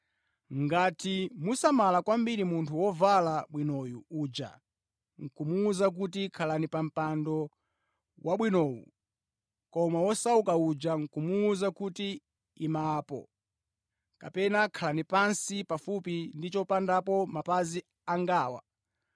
Ngati musamala kwambiri munthu wovala bwinoyu uja, nʼkumuwuza kuti, “Khalani pa mpando wabwinowu,” koma wosauka uja nʼkumuwuza kuti, “Ima apo,” kapena “Khala pansi pafupi ndi chopondapo mapazi angawa,”